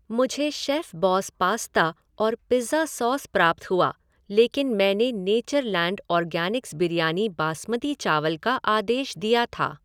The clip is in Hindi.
मुझे शेफ़बॉस पास्ता और पिज़्ज़ा सॉस प्राप्त हुआ लेकिन मैंने नेचरलैंड ऑर्गेनिक्स बिरयानी बासमती चावल का आदेश दिया था।